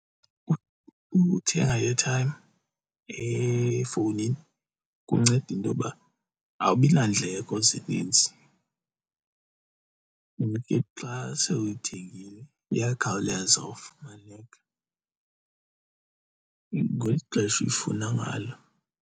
Ukuthenga i-airtime efowunini kunceda intoba awubi nandleko zininzi and ke xa sewuyithengile iyakhawuleza ufumaneka ngeli xesha ulifuna ngalo.